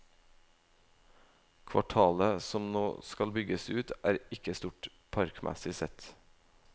Kvartalet som nå skal bygges ut, er ikke stort, parkmessig sett.